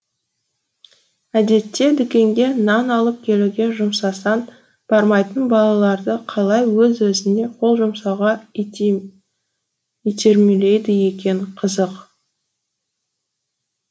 әдетте дүкенге нан алып келуге жұмсасаң бармайтын балаларды қалай өз өзіне қол жұмсауға итермелейді екен қызық